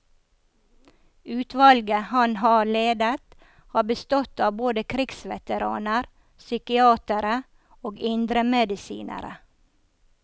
Utvalget han har ledet, har bestått av både krigsveteraner, psykiatere og indremedisinere.